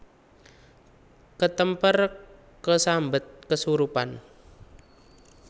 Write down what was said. Ketemper kesambet kesurupan